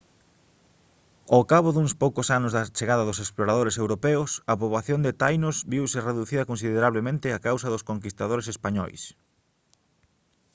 ao cabo duns poucos anos da chegada dos exploradores europeos a poboación de tainos viuse reducida considerablemente a causa dos conquistadores españois